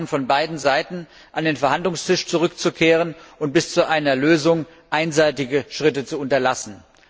wir verlangen von beiden Seiten, an den Verhandlungstisch zurückzukehren und bis zu einer Lösung einseitige Schritte zu unterlassen.